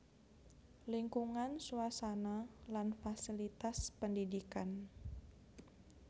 Lingkungan suasana lan fasilitas pendidikan